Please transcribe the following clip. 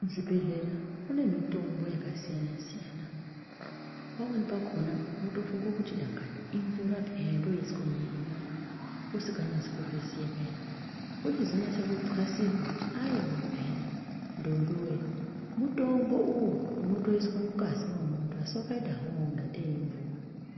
Muzvibhedhlera mune mitombo yakasiyana-siyana, pamweni pakhona unotofunga kuti dangani imvura peya yondoiswa mumuyiri mwangu usinga nyasi kuzviziya zviyani , wochizo nyasa kuxasirwa kuti aiwa peyani ndombi woye, mutombo uyu unotoiswa mungazi mwemunthu asi wakaita hawo kungatei imvura.